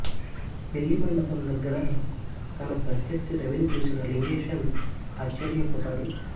పెళ్ళి మండపం దగ్గర తన ప్రత్యర్థి రవిని చూసిన లింగేశన్ ఆశ్చర్యపోతాడు